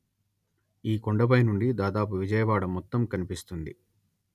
ఈ కొండపై నుండి దాదాపు విజయవాడ మొత్తం కనిపిస్తుంది